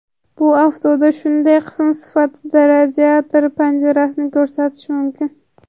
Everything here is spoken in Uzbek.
Bu avtoda shunday qism sifatida radiator panjarasini ko‘rsatish mumkin.